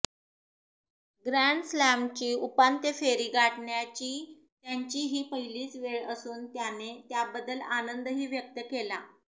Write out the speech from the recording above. ग्रँडस्लॅमची उपांत्य फेरी गाठण्याची त्याचीं ही पहिलीच वेळ असून त्याने त्याबद्दल आनंदही व्यक्त केला